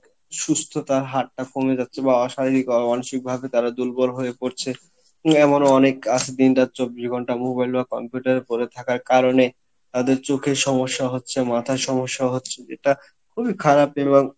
সুস্থতার হারটা কমে যাচ্ছে বা অশারীরিক ভাবে তারা দুর্বল হয়ে পরছে, উম এমনও অনেক আসে দিন রাত চব্বিশ ঘণ্টা mobile বা computer পরে থাকার কারনে তাদের চোখের সমস্যা হচ্ছে মাথার সমস্যা হচ্ছে যেটা খুবই খারাপ এবং